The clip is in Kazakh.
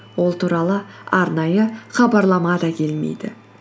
ол туралы арнайы хабарлама да келмейді